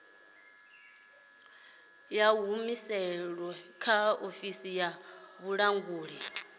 humusilwe kha ofisi ya vhulanguli